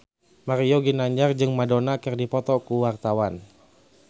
Mario Ginanjar jeung Madonna keur dipoto ku wartawan